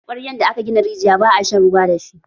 Kwaryan da aka gina rijiya, ba a shan ruwa da shi.